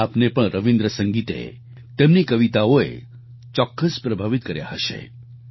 આપને પણ રવિન્દ્ર સંગીતે તેમની કવિતાઓએ ચોક્કસ પ્રભાવિત કર્યા હશે